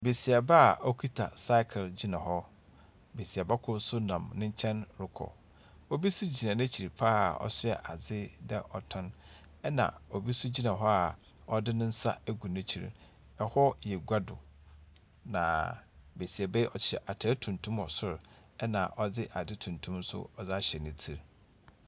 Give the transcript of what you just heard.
Besiaba a ɔkita cycle gyina hɔ. Besiaba kor nso nam ne nkyɛn rekɔ. Bi nso gyina n'ekyir pa ara a ɔsoa adze na ɔtɔn, na obi nso gyina hɔ a ɔdze ne nsa egu n'ekyir no. Hɔ yɛ gua do, na besiaba yi, ɔhyɛ atr tuntum wɔ sor, na ɔdze adze tuntum nso ɔdze ahyɛ ne tsir.